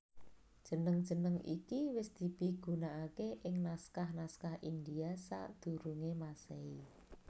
Jeneng jeneng iki wis dipigunaaké ing naskah naskah India sadurungé Masehi